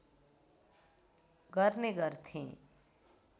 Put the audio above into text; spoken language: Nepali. गर्ने गर्थे